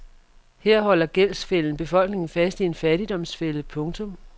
Her holder gældsfælden befolkningerne fast i en fattigdomsfælde. punktum